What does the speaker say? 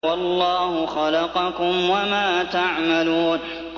وَاللَّهُ خَلَقَكُمْ وَمَا تَعْمَلُونَ